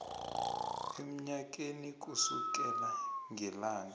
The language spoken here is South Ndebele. emnyakeni kusukela ngelanga